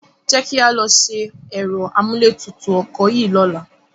Jẹ́ kí a lọ ṣe ẹ̀rọ amúlétutù ọkọ̀ yìí lọ́la.